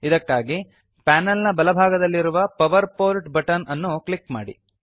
ಇದಕ್ಕಾಗಿ ಪಾನಲ್ ನ ಬಲಭಾಗದಲ್ಲಿರುವ power port button power port button ಅನ್ನು ಕ್ಲಿಕ್ ಮಾಡಿ